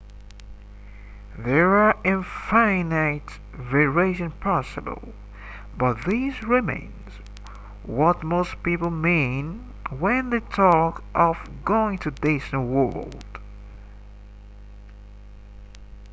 there are infinite variations possible but this remains what most people mean when they talk of going to disney world